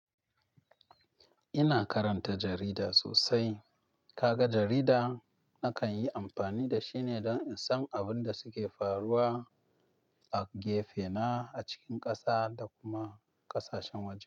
Ina karanta jarida sosai. Kaga jarida na kanyi amfani dashi ne don in san abin da suke faruwa a gefena, acikin ƙasa da kuma ƙasashen waje.